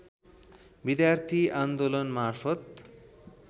विद्यार्थी आन्दोलनमार्फत